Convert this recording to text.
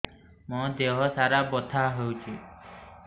ମୋ ଦିହସାରା ବଥା ହଉଚି